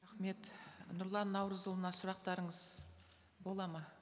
рахмет нұрлан наурызұлына сұрақтарыңыз болады ма